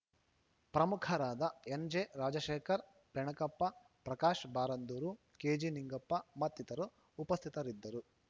ಪ್ರಮುಖರಾದ ಎನ್‌ಜೆ ರಾಜಶೇಖರ್‌ ಬೆನಕಪ್ಪ ಪ್ರಕಾಶ್‌ ಬಾರಂದೂರು ಕೆಜಿನಿಂಗಪ್ಪ ಮತ್ತಿತರರು ಉಪಸ್ಥಿತರಿದ್ದರು